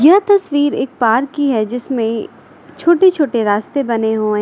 यह तस्वीर एक पार्क की है जिसमें छोटे छोटे रास्ते बने हुए हैं।